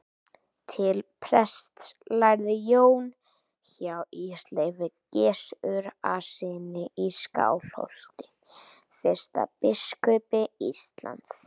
Til prests lærði Jón hjá Ísleifi Gissurarsyni í Skálholti, fyrsta biskupi Íslands.